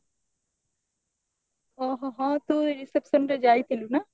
ଓଃହୋ ହଁ ତୁ reception ରେ ଯାଇଥିଲୁ ନା